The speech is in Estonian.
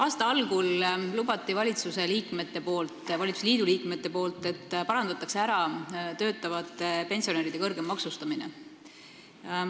Aasta algul lubasid valitsusliidu liikmed, et parandatakse ära töötavate pensionäride kõrgem maksustamine.